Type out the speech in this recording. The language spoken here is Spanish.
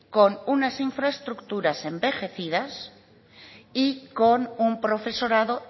con unas infraestructuras envejecidas y con un profesorado